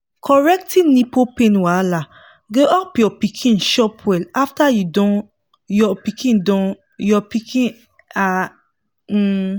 correcting nipple pain wahala go help your pikin chop well after you don your pikin don your pikin um um